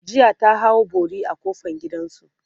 jiya ta hau bori a kofan gidansu